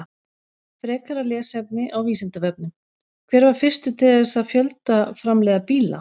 Frekara lesefni á Vísindavefnum: Hver var fyrstur til þess að fjöldaframleiða bíla?